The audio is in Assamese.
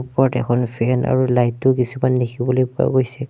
ওপৰত এখন ফেন আৰু লাইট ও কিছুমান দেখিবলৈ পোৱা গৈছে।